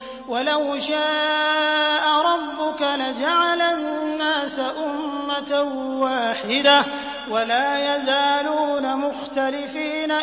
وَلَوْ شَاءَ رَبُّكَ لَجَعَلَ النَّاسَ أُمَّةً وَاحِدَةً ۖ وَلَا يَزَالُونَ مُخْتَلِفِينَ